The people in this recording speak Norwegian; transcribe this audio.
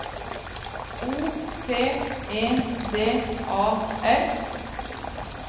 O P E D A L